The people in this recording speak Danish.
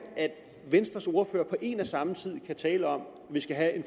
at venstres ordfører på en og samme tid kan tale om at vi skal have en